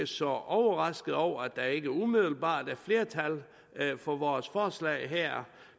så overraskede over at der ikke umiddelbart er flertal for vores forslag her